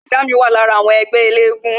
Bọ̀dá mi wà lára àwọn ẹgbẹ́ elégún